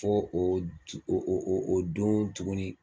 Fo o ooo don tuguni